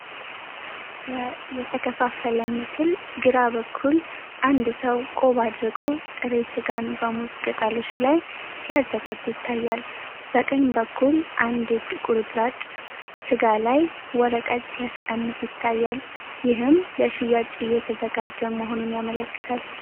በ የተከፋፈለ ምስል ግራ በኩል አንድ ሰው ቆብ አድርጎ፣ ጥሬ ሥጋን በሙዝ ቅጠሎች ላይ ሲያዘጋጅ ይታያል። በቀኝ በኩል አንድ እጅ ቁርጥራጭ ስጋ ላይ ወረቀት ሲያስቀምጥ ይታያል፤ ይህም ለ ሽያጭ እየተዘጋጀ መሆኑን ያመለክታል።